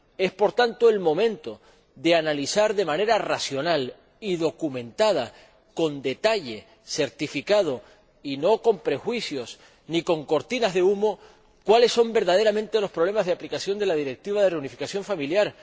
Es, por tanto, el momento de analizar de manera racional, documentada y certificada, con detalle y no con prejuicios ni con cortinas de humo, cuáles son verdaderamente los problemas de aplicación de la Directiva de reunificación familiar.